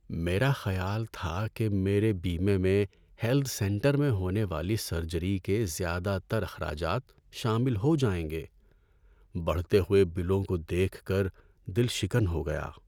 میرا خیال تھا کہ میرے بیمے میں ہیلتھ سینٹر میں ہونے والی سرجری کے زیادہ تر اخراجات شامل ہو جائیں گے۔ بڑھتے ہوئے بلوں کو دیکھ کر دل شکن ہو گیا۔